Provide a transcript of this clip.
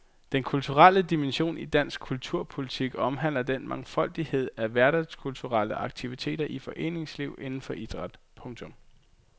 Den kulturelle dimension i dansk kulturpolitik omhandler den mangfoldighed af hverdagskulturelle aktiviteter i foreningsliv inden for idræt. punktum